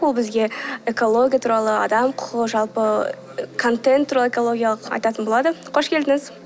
ол бізге экология туралы адам құқығы жалпы контент туралы экологиялық айтатын болады қош келдіңіз